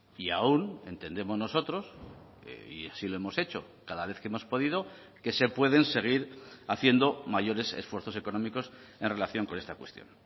y aún entendemos nosotros y así lo hemos hecho cada vez que hemos podido que se pueden seguir haciendo mayores esfuerzos económicos en relación con esta cuestión